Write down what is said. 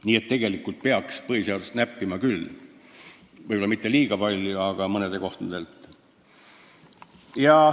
Nii et tegelikult peaks põhiseadust näppima küll, võib-olla mitte liiga palju, aga mõnes kohas.